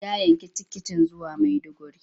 Ya yanki tiketin zuwa Maiduguri.